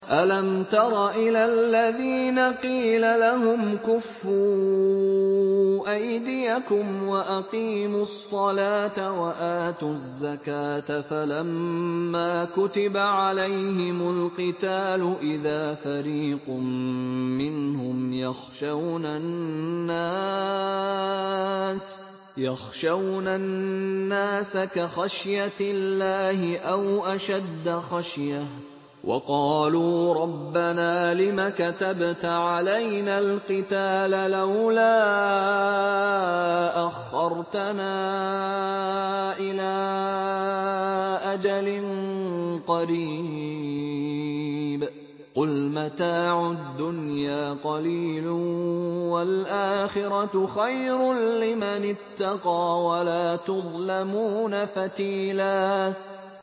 أَلَمْ تَرَ إِلَى الَّذِينَ قِيلَ لَهُمْ كُفُّوا أَيْدِيَكُمْ وَأَقِيمُوا الصَّلَاةَ وَآتُوا الزَّكَاةَ فَلَمَّا كُتِبَ عَلَيْهِمُ الْقِتَالُ إِذَا فَرِيقٌ مِّنْهُمْ يَخْشَوْنَ النَّاسَ كَخَشْيَةِ اللَّهِ أَوْ أَشَدَّ خَشْيَةً ۚ وَقَالُوا رَبَّنَا لِمَ كَتَبْتَ عَلَيْنَا الْقِتَالَ لَوْلَا أَخَّرْتَنَا إِلَىٰ أَجَلٍ قَرِيبٍ ۗ قُلْ مَتَاعُ الدُّنْيَا قَلِيلٌ وَالْآخِرَةُ خَيْرٌ لِّمَنِ اتَّقَىٰ وَلَا تُظْلَمُونَ فَتِيلًا